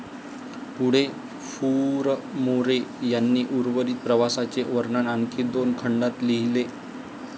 पुढे फुरमोरे यांनी उर्वरित प्रवासाचे वर्णन आणखी दोन खंडात लिहिले.